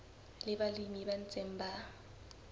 le balemi ba ntseng ba